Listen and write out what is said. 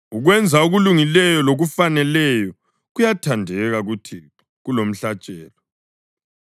Ukwenza okulungileyo lokufaneleyo kuyathandeka kuThixo kulomhlatshelo.